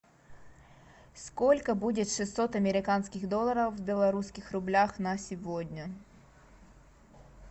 сколько будет шестьсот американских долларов в белорусских рублях на сегодня